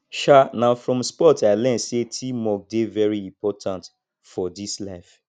um na from sports i learn sey teamwork dey very important for dis life